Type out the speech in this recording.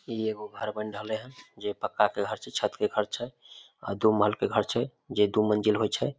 इ एगो घर बन रहले हेय जे पक्का के घर छै छत के घर छै अ दू महल के घर छै जे दू मंजिल होय छै।